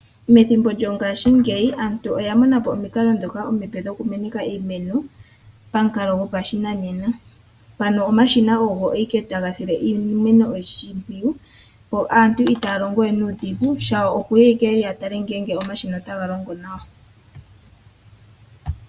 Methimbo lyongaashingeyi aantu oya mona po omikalo ndhoka dhoku meneka iimeno pamukalo gopashinanena . Ano omashina ogo owala taga longo, aanhu itaya longo we nuudhigu shawo okuya owala oku tala ngela omashina otaga longo nawa.